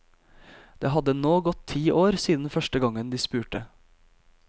Det hadde nå gått ti år siden første gangen de spurte.